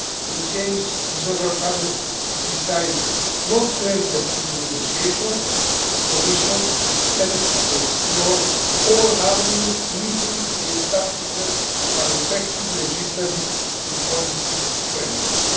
If the social partners decide not to enter into negotiation, the Commission intends to explore all avenues leading to the establishment of an effective legislative and policy framework.